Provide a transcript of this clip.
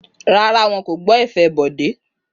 Rárá, wọn kò gbọ́ ẹ̀fẹ̀ Bọ̀dé.